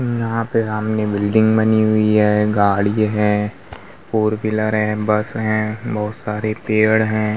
यहाँ पे सामने बिल्डिंग बनी हुई है। गाडी है। फोर व्हीलर है। बस हैं। बोहोत सारे पेड़ हैं।